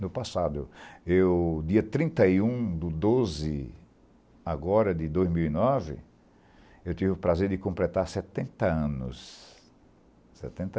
no passado, eu dia trinta e um de doze agora de dois mil e nove, eu tive o prazer de completar setenta anos, setenta.